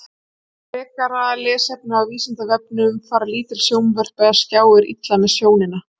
Frekara lesefni á Vísindavefnum: Fara lítil sjónvörp eða skjáir illa með sjónina?